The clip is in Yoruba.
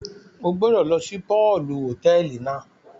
O gbọdọ lọ si pọọlù hotẹẹli náà!